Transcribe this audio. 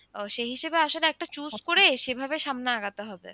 সেই হিসেবে আসলে একটা চুপ করে সেভাবে সামনে আগাতে হবে।